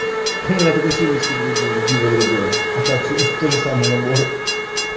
у меня только семечки другие и пиво другое а так всё тот же самый набор